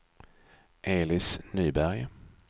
Elis Nyberg